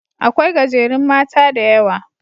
Aƙwai gajerun mata da Yawa.